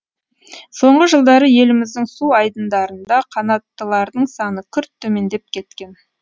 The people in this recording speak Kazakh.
соңғы жылдары еліміздің су айдындарында қанаттылардың саны күрт төмендеп кеткен